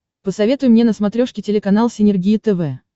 посоветуй мне на смотрешке телеканал синергия тв